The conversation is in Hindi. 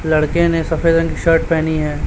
लड़के ने सफेद रंग की शर्ट पेहनी है।